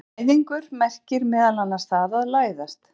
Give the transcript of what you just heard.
Læðingur merkir meðal annars það að læðast.